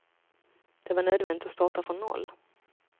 Det var nödvändigt att starta från noll.